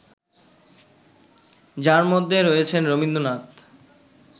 যার মধ্যে রয়েছেন রবীন্দ্রনাথ